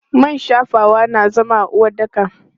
Man shafawa na zama a uwaɗɗaka.